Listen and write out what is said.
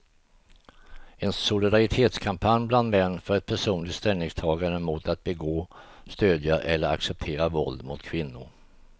En solidaritetskampanj bland män för ett personligt ställningstagande mot att begå, stödja eller acceptera våld mot kvinnor.